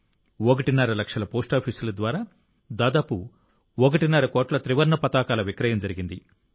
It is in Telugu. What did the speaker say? ఒకటిన్నర లక్షల పోస్టాఫీసుల ద్వారా దాదాపు ఒకటిన్నర కోట్ల త్రివర్ణ పతాకాల విక్రయం జరిగింది